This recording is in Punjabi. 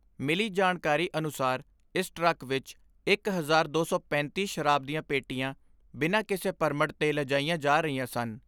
ਮਿਲੀ ਜਾਣਕਾਰੀ ਅਨੁਸਾਰ ਇਸ ਟਰੱਕ ਵਿਚ ਇਕ ਹਜ਼ਾਰ ਦੋ ਸੌ ਪੈਂਤੀ ਸ਼ਰਾਬ ਦੀਆਂ ਪੇਟੀਆਂ ਬਿਨਾਂ ਕਿਸੇ ਪਰਮਟ ਦੇ ਲਜਾਇਆ ਜਾ ਰਹੀਆਂ ਸਨ।